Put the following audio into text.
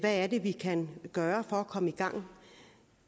er det vi kan gøre for at komme i gang